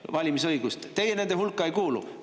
Teie nende hulka ei kuulu.